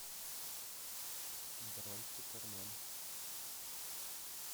бронь супермен